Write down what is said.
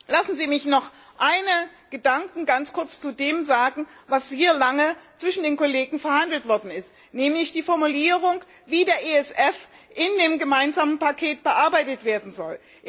Lassen Sie mich noch einen Gedanken ganz kurz zu dem sagen, was hier lange zwischen den Kollegen verhandelt worden ist, nämlich die Formulierung, wie der ESF in dem gemeinsamen Paket bearbeitet werden soll.